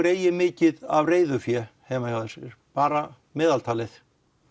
eigi mikið af reiðufé heima hjá sér bara meðaltalið